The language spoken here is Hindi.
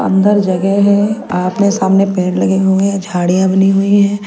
अंदर जगह है सामने पेड़ लगे हुए हैं झाड़ियां बनी हुई हैं।